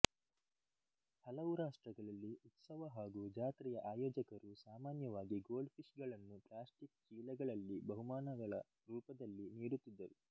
ಹಲವು ರಾಷ್ಟ್ರಗಳಲ್ಲಿ ಉತ್ಸವ ಹಾಗು ಜಾತ್ರೆಯ ಆಯೋಜಕರು ಸಾಮಾನ್ಯವಾಗಿ ಗೋಲ್ಡ್ ಫಿಷ್ ಗಳನ್ನು ಪ್ಲ್ಯಾಸ್ಟಿಕ್ ಚೀಲಗಳಲ್ಲಿ ಬಹುಮಾನಗಳ ರೂಪದಲ್ಲಿ ನೀಡುತ್ತಿದ್ದರು